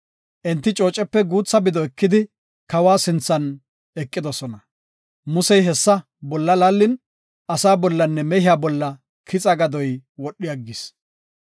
Enti coocepe guutha bido ekidi kawa sinthan eqidosona. Musey hessa bolla laallin, asaa bollanne mehiya bolla kixa gadoy wodhi aggis.